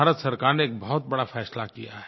भारत सरकार ने एक बहुत बड़ा फ़ैसला किया है